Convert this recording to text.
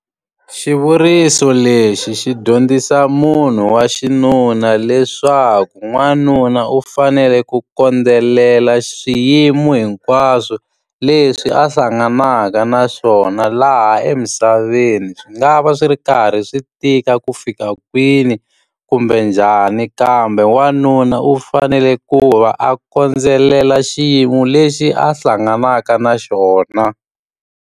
Xivuriso lexi xi dyondzisa munhu wa xinuna leswaku n'wanuna u fanele ku kondzelela xiyimo hinkwaswo leswi a hlanganaka na xona laha ha emisaveni. Swi nga va swi ri karhi swi tika ku fika kwini kumbe njhani, kambe wanuna u fanele ku va a khondelela xiyimo lexi a hlanganaka na xona.